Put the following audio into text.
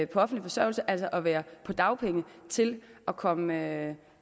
på offentlig forsørgelse altså at være på dagpenge til at komme